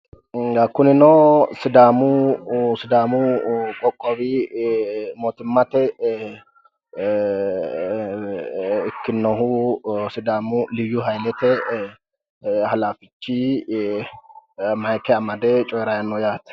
kunino sidaamu qoqowi ee mootimmate ee ikkinnohu sidaamu liyyu hayiilete ee halaafichi mayike amade coyiirayi no yaate.